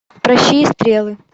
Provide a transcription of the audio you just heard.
пращи и стрелы